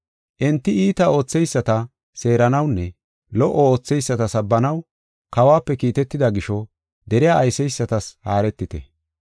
Enti iita ootheyisata seeranawunne lo77o ootheyisata sabbanaw kawuwape kiitetida gisho deriya ayseysatas haaretite.